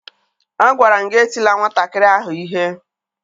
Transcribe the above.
Agwara m gị etila nwatakịrị ahụ ihe!